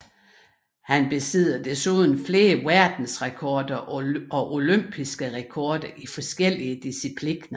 Han besidder desuden flere verdensrekorder og olympiske rekorder i forskellige discipliner